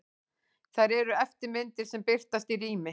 Þær eru eftirmyndir sem birtast í rými.